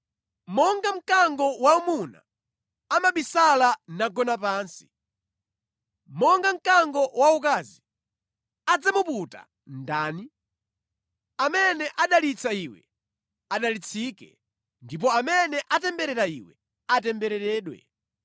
Monga mkango waumuna, amabisala nagona pansi, monga mkango waukazi, adzamuputa ndani? “Amene adalitsa iwe, adalitsike ndipo amene atemberera iwe, atembereredwe!”